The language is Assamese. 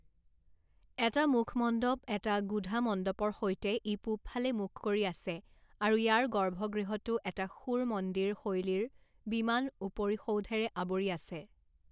এটা মুখমণ্ডপ এটা গুধামণ্ডপৰ সৈতে ই পূৱফালে মুখ কৰি আছে আৰু ইয়াৰ গৰ্ভগৃহটো এটা সুৰ মন্দিৰ শৈলীৰ বিমান উপৰিসৌধেৰে আৱৰি আছে।